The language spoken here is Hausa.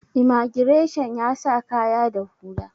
imagireshan ya sa kaya da hula